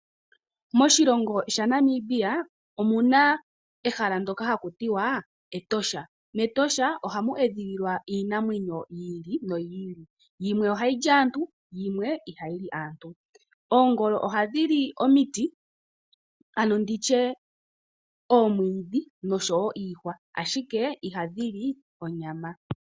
Moshilongo sha Namibia omuna ehala ndoka haku tiwa Etosha, mEtosha ohamu edhililwa iinamwenyo yi ili noyi ili. Yimwe ohayi li aantu, yimwe ihayi li aantu. Oongolo ohadhi li omiti, ano nditye oomwiidhi noshowo iihwa, ashike ihadhi li onyama.